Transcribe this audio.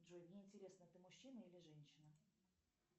джой мне интересно ты мужчина или женщина